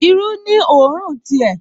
Irú ní òórùn ti ẹ̀